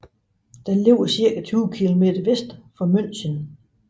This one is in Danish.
Den ligger cirka 20 kilometer vest for München